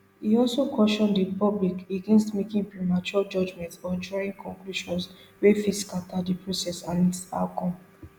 e also caution di public against making premature judgments or drawing conclusions wey fit scata di process and its outcome